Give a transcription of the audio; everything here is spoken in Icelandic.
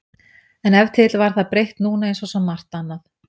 En ef til vill var það breytt núna einsog svo margt annað.